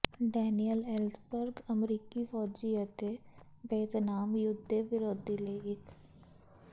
Daniel Ellsberg ਅਮਰੀਕੀ ਫੌਜੀ ਅਤੇ ਵੀਅਤਨਾਮ ਯੁੱਧ ਦੇ ਵਿਰੋਧੀ ਲਈ ਇੱਕ ਸਾਬਕਾ ਵਿਸ਼ਲੇਸ਼ਕ ਹੈ